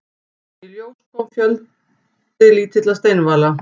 Í ljós kom lítil steinvala.